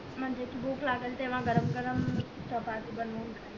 म्हणजे भूक लागेल तेव्हा गरम गरम चपाती बनवून खाईल